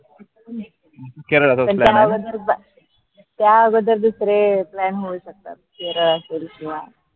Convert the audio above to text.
त्या बद्दल नाई होऊ शकत